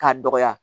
K'a dɔgɔya